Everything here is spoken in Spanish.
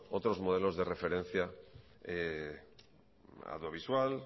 otros modelos de referencia audiovisual